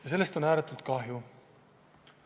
Ja sellest on ääretult kahju.